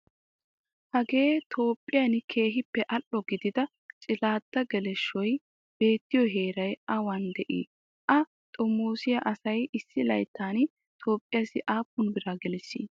Hagee Toophphiyan keehippe al''o gididaa cilladda geleshshoyi beettiyoo heerayi awan dii? A xomoosiyaa asayi issi layittan Toophphiyaassi aappun biraa geliissii?